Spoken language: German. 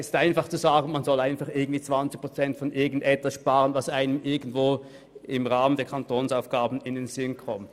Es ist einfach, zu sagen, man solle irgendwie 20 Prozent von irgendetwas einsparen, das einem irgendwo im Rahmen der Kantonsaufgaben in den Sinn kommt.